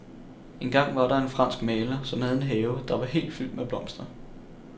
Engang var der en fransk maler, som havde en have, der var helt fyldt med blomster.